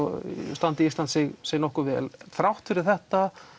standi Ísland sig sig nokkuð vel þrátt fyrir þetta